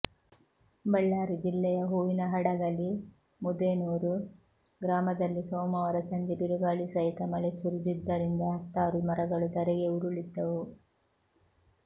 ಬಳ್ಳಾರಿ ಜಿಲ್ಲೆಯ ಹೂವಿನಹಡಗಲಿ ಮುದೇನೂರು ಗ್ರಾಮದಲ್ಲಿ ಸೋಮವಾರ ಸಂಜೆ ಬಿರುಗಾಳಿ ಸಹಿತ ಮಳೆ ಸುರಿದಿದ್ದರಿಂದ ಹತ್ತಾರು ಮರಗಳು ಧರೆಗೆ ಉರುಳಿದ್ದವು